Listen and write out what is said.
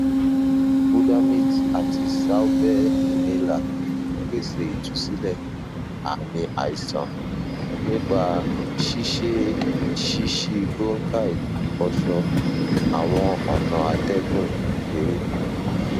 budamate ati salbair inhaler pese itusilẹ aami aisan nipa ṣiṣe shishibronchi ifọṣọ awọn ọna atẹgun kekere